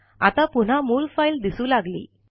आता पुन्हा मूळ फाइल दिसू लागली